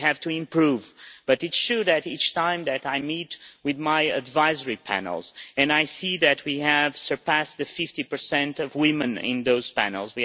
We have to improve, but it shows each time I meet with my advisory panels and I see that we have surpassed the 50 mark for women on those panels.